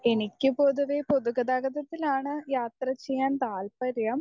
Speaker 1 എനിക്ക് പൊതുവേ പൊതുഗതാഗതത്തിലാണ് യാത്ര ചെയ്യാൻ താല്പര്യം.